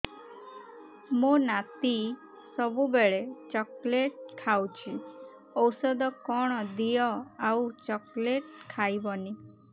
ମୋ ନାତି ସବୁବେଳେ ଚକଲେଟ ଖାଉଛି ଔଷଧ କଣ ଦିଅ ଆଉ ଚକଲେଟ ଖାଇବନି